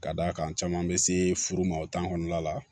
Ka d'a kan caman bɛ se furu ma o tan kɔnɔna la